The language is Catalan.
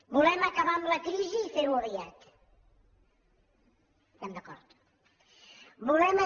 volem acabar amb la crisi i fer ho aviat estem d’acord